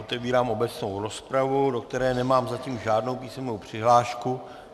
Otevírám obecnou rozpravu, do které nemám zatím žádnou písemnou přihlášku.